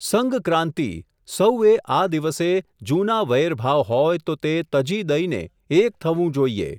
સંઘક્રાન્તિ, સહૂએ આ દિવસે જૂના વૈરભાવ હોય, તો તે તજી દઈને, એક થવું જોઈએ.